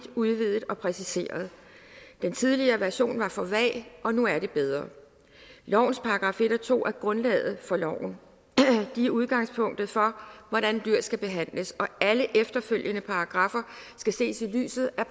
udvidet og præciseret den tidligere version var for vag og nu er det bedre lovens § en og to er grundlaget for loven de er udgangspunktet for hvordan dyr skal behandles og alle efterfølgende paragraffer skal ses i lyset af